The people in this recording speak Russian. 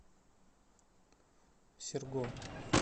серго